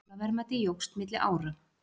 Aflaverðmæti jókst milli ára